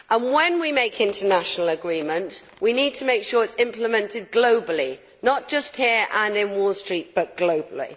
When we make an international agreement, we need to make sure that it is implemented globally not just here and in Wall Street, but globally.